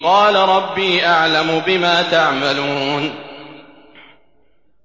قَالَ رَبِّي أَعْلَمُ بِمَا تَعْمَلُونَ